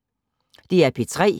DR P3